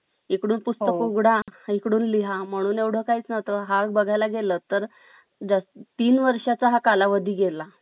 अरे! side earning आहे का sir? आपण घरी बसून आपल्याला काही गरजेचे पैसे. Sir ते रातच्याला timing काय आहे त्याचं? आपण रातच्याला करू शकतो का? त्याला laptop काई computer आपल्याला